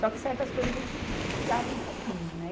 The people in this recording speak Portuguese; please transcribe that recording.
Só que certas coisas a gente brigava um pouquinho, né?